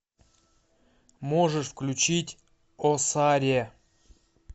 можешь включить о саре